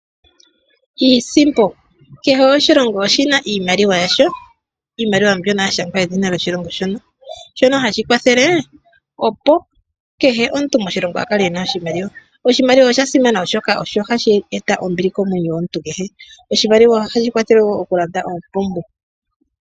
Iisimpo Kehe oshilongo oshi na iimaliwa yasho, iimaliwa mbyono ya shangwa edhina lyoshilongo sho. Shono hashi kwathele, opo kehe omuntu moshilongo a kale e na oshimaliwa. Oshimaliwa osha simana, oshoka ohashi eta ombili komwenyo gomuntu kehe .Oshimaliwa ohashi kwathele wo okulanda oompumbwe.